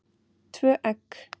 Tvö egg.